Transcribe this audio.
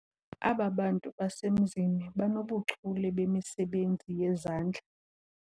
Aba bantu basemzini banobuchule bemisebenzi yezandla.